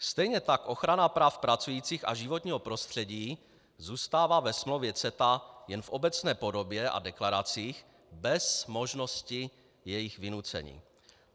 Stejně tak ochrana práv pracujících a životního prostředí zůstává ve smlouvě CETA jen v obecné podobě a deklaracích bez možnosti jejich vynucení.